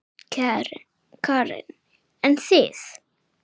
Karen: En þið?